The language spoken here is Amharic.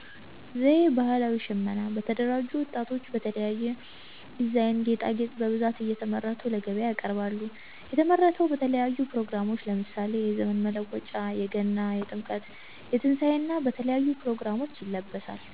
ዘዬ ባሀላዊ ሽመና በተደራጁ ወጣቶች በተለያየ ዲዛይን፣ ጌጣጌጥ በብዛት እያመረቱ ለገበያ ያቀርባሉ። የተመረተው በተለያዩ ብሮግራሞች ለምሳሌ የዘመን መለወጫ፣ የገና፣ የጥምቀት፣ የትንሣኤ እና በተለያዩ ፕሮግራሞች ይለብሳል።